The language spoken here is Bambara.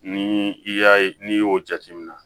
Ni i y'a ye n'i y'o jateminɛ